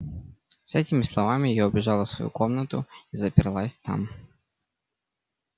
с этими словами я убежала в свою комнату и заперлась там